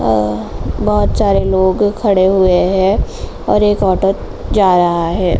और बोहोत सारे लोग खड़े हुए हैं और एक ऑटो जा रहा है।